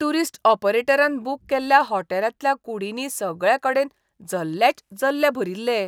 Tourist ऑपरेटरान book केल्ल्या होटॅलांतल्या कुडींनी सगळेकडेन जल्लेच जल्ले भरिल्ले.